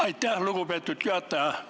Aitäh, lugupeetud juhataja!